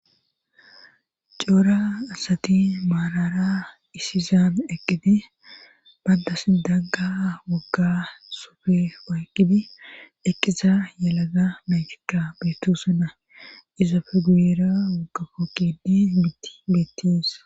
coora asati maalara isizaan eqqidi bandas dagga wogga sofe wayqqidi eqqiza yelaga menchika beetu sanna izafe guyera wogga kookkidi mitti betties